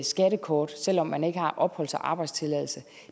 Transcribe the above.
skattekort selv om man ikke har opholds og arbejdstilladelse